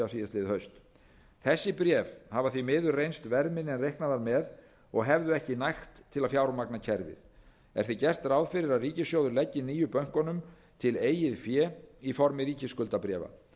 síðastliðið haust þessi bréf hafa því miður reynst verðminni en reiknað var með og hefðu ekki nægt til að fjármagna kerfið er því gert ráð fyrir að ríkissjóður leggi nýju bönkunum til eigið fé í formi ríkisskuldabréfa